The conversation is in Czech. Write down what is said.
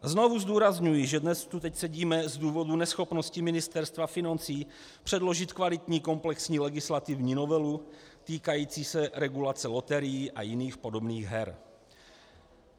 Znovu zdůrazňuji, že dnes tu teď sedíme z důvodu neschopnosti Ministerstva financí předložit kvalitní komplexní legislativní novelu týkající se regulace loterií a jiných podobných her.